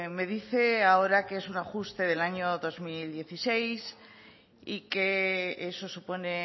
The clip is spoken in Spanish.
me dice ahora que es un ajuste del año dos mil dieciséis y que eso supone